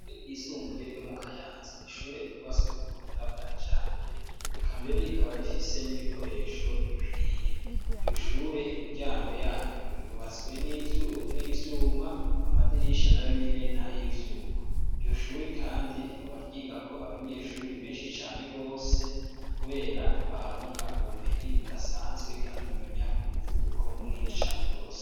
Ishure ryisumbuye ryo mu Kayanza n'ishure ryubatswe ku buhinga bwa kijambere, eka mbere rikaba rifise n'ibikoresho bikwiye, iryo shure imiryango yaryo yubatswe n'ivyuma, amadirisha nayo nyene n'ayivyuma, iryo shure kandi rikaba ryigako abanyeshuri benshi cane gose kubera baharonka ubumenyi budasanzwe kandi bamenya ku muvuduko munini cane gose.